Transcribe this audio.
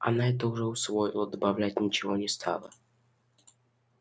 она это уже усвоила добавлять ничего не стала